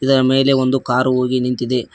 ಇದರ ಮೇಲೆ ಒಂದು ಕಾರು ಹೋಗಿ ನಿಂತಿದೆ.